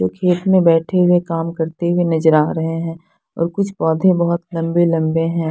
कुछ खेत में बैठे हुए काम करते हुए नजर आ रहे है और कुछ पौधे बहोत लम्बे लम्बे हैं।